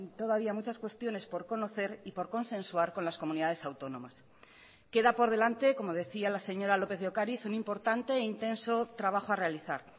todavía muchas cuestiones por conocer y por consensuar con las comunidades autónomas queda por delante como decía la señora lópez de ocariz un importante e intenso trabajo a realizar